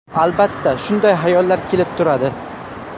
Albatta, shunday hayollar kelib turadi.